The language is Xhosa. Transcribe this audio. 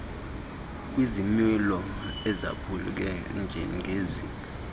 kwizimilo ezaphuke njengezi